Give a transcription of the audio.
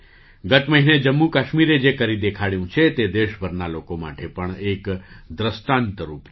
ગત મહિને જમ્મુ કાશ્મીરે જે કરી દેખાડ્યું છે તે દેશભરના લોકો માટે પણ એક દૃષ્ટાંતરૂપ છે